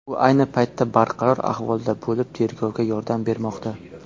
U ayni paytda barqaror ahvolda bo‘lib, tergovga yordam bermoqda.